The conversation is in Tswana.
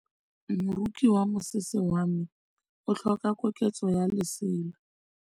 Moroki wa mosese wa me o tlhoka koketsô ya lesela.